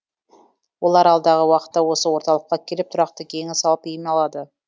олар алдағы уақытта осы орталыққа келіп тұрақты кеңес алып ем алады